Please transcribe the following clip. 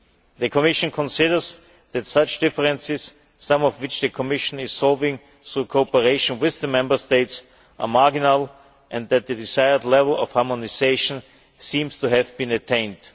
The Commission considers that such differences, some of which the Commission is solving through cooperation with the Member States, are marginal, and that the desired level of harmonisation seems to have been attained.